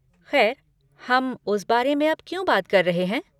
खैर, हम उस बारे में अब क्यों बातें कर रहे हैं?